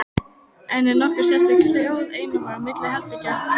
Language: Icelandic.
En er nokkur sérstök hljóðeinangrun milli herbergja?